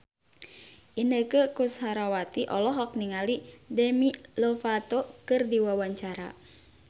Inneke Koesherawati olohok ningali Demi Lovato keur diwawancara